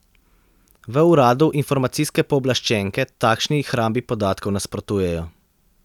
V uradu informacijske pooblaščenke takšni hrambi podatkov nasprotujejo.